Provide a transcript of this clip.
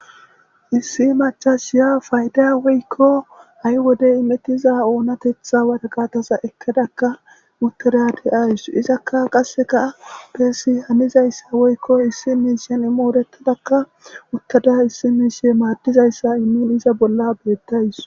Issi macassiya Fayda woyko ha'i wide immetiza oonateththa woraqataza ekkadaka uttida de'awus. Izaka qasekka bessi hanizayssa woyko issini issini moritidika uttada issini issi madizayssa immiza bolla betawus.